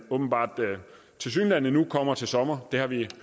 kommer til sommer det har vi